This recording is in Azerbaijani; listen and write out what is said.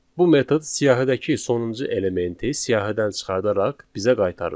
Bu metod siyahıdakı sonuncu elementi siyahıdan çıxardaraq bizə qaytarır.